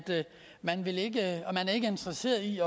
man ikke er interesseret i